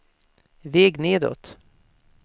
väg nedåt